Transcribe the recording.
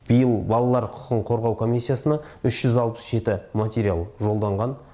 биыл балалар құқығын қорғау комиссиясына үш жүз алпыс жеті материал жолданған